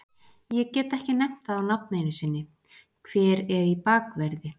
Ég get ekki nefnt það á nafn einu sinni, hver er í bakverði?